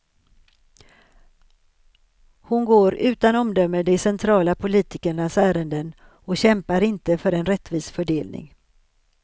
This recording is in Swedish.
Hon går utan omdöme de centrala politikernas ärenden och kämpar inte för en rättvis fördelning.